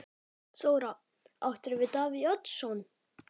Þóra: Áttirðu við Davíð Oddsson?